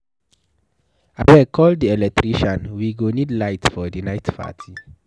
Abeg call the electrician we go need light for the night party.